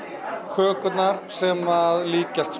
kökurnar sem líkjast